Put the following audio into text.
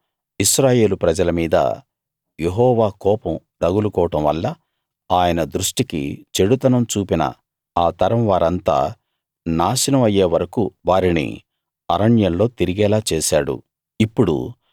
అప్పుడు ఇశ్రాయేలు ప్రజల మీద యెహోవా కోపం రగులుకోవడం వల్ల ఆయన దృష్ఠికి చెడుతనం చూపిన ఆ తరం వారంతా నాశనం అయ్యే వరకూ వారిని అరణ్యంలో తిరిగేలా చేశాడు